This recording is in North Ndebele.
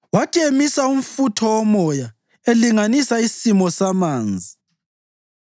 Wathi emisa umfutho womoya, elinganisa isimo samanzi,